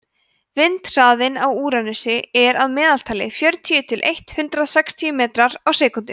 vindhraðinn á úranusi er að meðaltali fjörutíu til eitt hundruð sextíu metrar á sekúndu